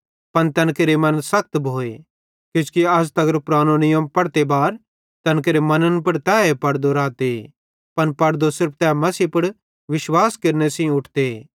पन तैन केरे मन सखत भोए किजोकि अज़ तगर पुरानो नीयम पढ़ते बार तैन केरे मन्न पुड़ तैए पड़दो रहते पन पड़दो सिर्फ तै मसीह पुड़ विश्वास केरने सेइं उठते